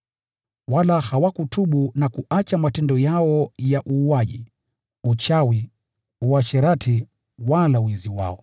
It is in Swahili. Wala hawakutubu na kuacha matendo yao ya uuaji, uchawi, uasherati wala wizi wao.